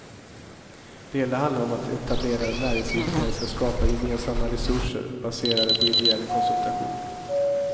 Det hela handlar om att etablerade näringsidkare ska skapa gemensamma resurser, baserade på ideell konsultation.